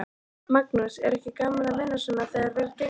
Magnús: Er ekki gaman að vinna svona þegar vel gengur?